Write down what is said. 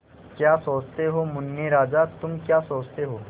क्या सोचते हो मुन्ने राजा तुम क्या सोचते हो